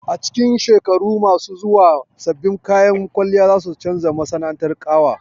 A cikin shekaru masu zuwa, sabbin kayan kwalliya za su canza masana'antar ƙawa